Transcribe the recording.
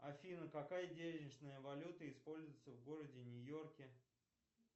афина какая денежная валюта используется в городе нью йорке